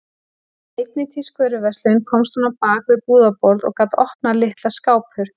Í einni tískuvöruverslun komst hún á bak við búðarborð og gat opnað litla skáphurð.